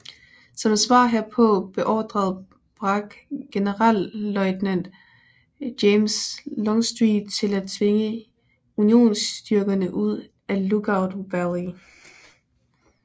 Som svar herpå beordrede Bragg generalløjtnant James Longstreet til at tvinge unionsstyrkerne ud af Lookout Valley